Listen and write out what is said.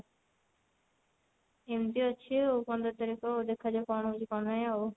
ଏମତି ଅଛି ଆଉ ପନ୍ଦର ତାରିଖ ଦେଖାଯାଉ କଣ ହଉଛି କଣ ନାଇଁ ଆଉ